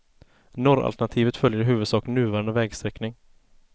Norralternativet följer i huvudsak nuvarande vägsträckning.